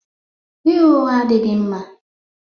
Ịgha ụgha adịghị mma